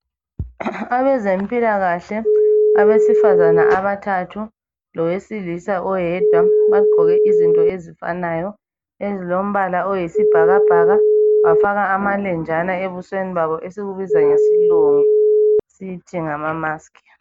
Abezempilakahle abesifazana abathathu lowesilisa oyedwa, bagqoke izinto ezifanayo ezilombala oyisibhakabhaka bafaka amalenjana ebusweni babo esikubiza ngesilungu sithi ngama mask.